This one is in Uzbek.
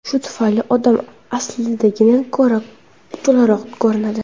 Shu tufayli odam aslidagidan ko‘ra to‘laroq ko‘rinadi.